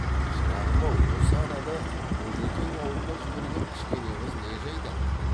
шырағым ау осы анада бөжекең аулына жіберген кішкене қыз не жайда